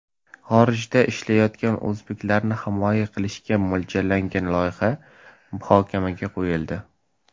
Xorijda ishlaydigan o‘zbeklarni himoya qilishga mo‘ljallangan loyiha muhokamaga qo‘yildi.